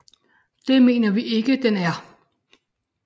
Det mener vi ikke den er